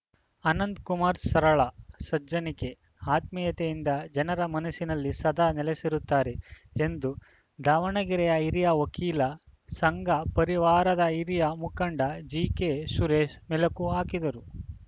ಅನಂತಕುಮಾರ್‌ ಸರಳ ಸಜ್ಜನಿಕೆ ಆತ್ಮೀಯತೆಯಿಂದ ಜನರ ಮನಸ್ಸಿನಲ್ಲಿ ಸದಾ ನೆಲೆಸಿರುತ್ತಾರೆ ಎಂದು ದಾವಣಗೆರೆಯ ಹಿರಿಯ ವಕೀಲ ಸಂಘ ಪರಿವಾರದ ಹಿರಿಯ ಮುಖಂಡ ಜಿಕೆಸುರೇಶ ಮೆಲಕು ಹಾಕಿದರು